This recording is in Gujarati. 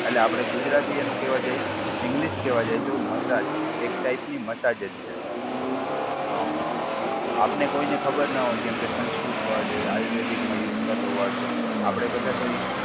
એટલે આપડે ગુજરાતી એનું કહેવા જાય, ઇંગલિશ કહેવા જાય તો મસાજ. એક ટાઈપની મસાજ જ છે સર. હા. આપને કોઈને ખબર ન હોય કેમકે સંસ્કૃત વર્ડ એ આયુર્વેદિકમાં યુઝ થતો વર્ડ છે. આપડે બધા તો એ